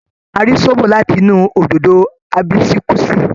A rí zobo láti inú òdòdó Àbísíkúsí.